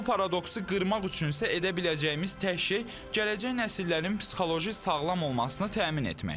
Bu paradoksu qırmaq üçün isə edə biləcəyimiz tək şey gələcək nəsillərin psixoloji sağlam olmasını təmin etməkdir.